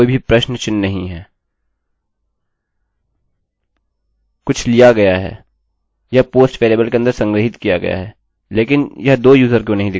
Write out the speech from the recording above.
यह काफी अच्छा होगा यदि हम पासवर्ड कह सकते हैं चलिए इसे पासवर्ड कहते हैं